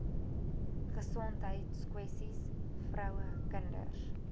gesondheidskwessies vroue kinders